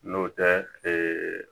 N'o tɛ